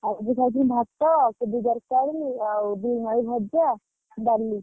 ଆଜି ଖାଇଥିଲି ଭାତ କୋବି ତରକାରୀ ଆଉ ବିମ ଆଳୁ ଭଜା ଡାଲି।